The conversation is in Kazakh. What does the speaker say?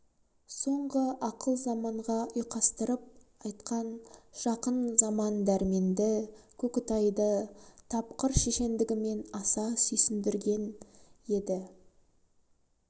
соңғы ақыл заманға ұйқастырып айтқан жақын заман дөрменді көкітайды тапқыр шешендігімен аса сүйсіндіргең еді